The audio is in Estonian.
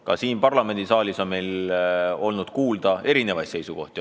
Ka siin parlamendisaalis on ju kuulda olnud erinevaid seisukohti.